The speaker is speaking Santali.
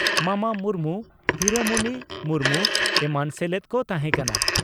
ᱢᱟᱢᱟ ᱢᱩᱨᱢᱩ ᱦᱤᱨᱟᱢᱚᱱᱤ ᱢᱩᱨᱢᱩ ᱮᱢᱟᱱ ᱥᱮᱞᱮᱫ ᱠᱚ ᱛᱟᱦᱮᱸ ᱠᱟᱱᱟ ᱾